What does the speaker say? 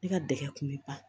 Ne ka dɛgɛ kun be ban